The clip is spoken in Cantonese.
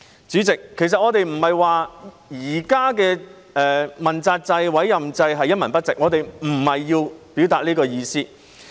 主席，其實我們並非說現行的問責制、政治委任制度一文不值，我們並非要表達這意思。